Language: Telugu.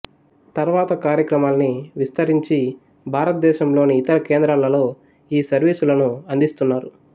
తర్వాత కార్యక్రమాల్ని విస్తరించి భారతదేశంలోని ఇతర కేంద్రాలలో ఈ సర్వీసులను అందుస్తున్నారు